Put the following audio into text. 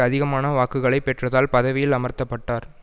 அதிகமான வாக்குகளை பெற்றதால் பதவியில் அமர்த்த பட்டார்